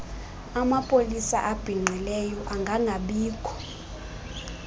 amapolisa abhinqileyo angangabikho